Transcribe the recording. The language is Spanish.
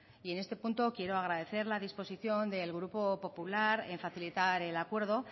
y en este punto quiero agradecer la disposición del grupo popular en facilitar el acuerdo